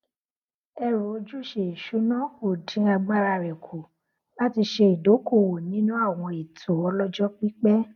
ẹrù ojúṣe ìṣúná ò dín agbára rẹ kù láti ṣe ìdókóòwò nínú àwọn ètò ọlọjọ pípẹ